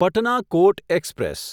Patna Kota express